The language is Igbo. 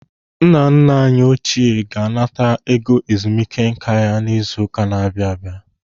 Nna nna anyị ochie ga-anata ego ezumike nká ya izu ụka na-abịa abịa.